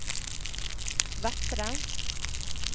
Vettre